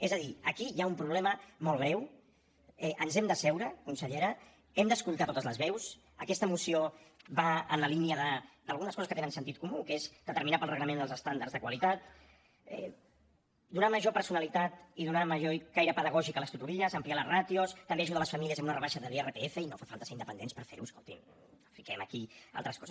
és a dir aquí hi ha un problema molt greu ens hem d’asseure consellera hem d’escoltar totes les veus aquesta moció va en la línia d’algunes coses que tenen sentit comú que és determinar pel reglament els estàndards de qualitat donar major personalitat i donar major caire pedagògic a les tutories ampliar les ràtios també ajudar les famílies amb una rebaixa de l’irpf i no fa falta ser independents per fer ho escolti’m no fiquem aquí altres coses